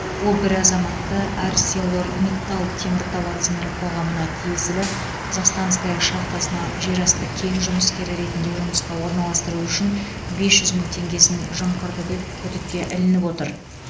ол бір азаматты арселормиттал теміртау акционерлік қоғамына тиесілі казахстанская шахтасына жерасты кен жұмыскері ретінде жұмысқа орналастыру үшін бес жүз мың теңгесін жымқырды деп күдікке ілініп отыр